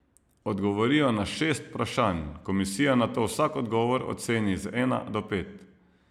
Odgovorijo na šest vprašanj, komisija nato vsak odgovor oceni z ena do pet.